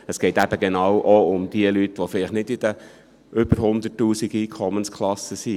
Es geht eben genau auch um die Leute, die vielleicht nicht in den Einkommensklassen von über 100 000 Franken sind.